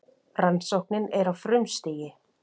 Rannsóknin er á frumstigi.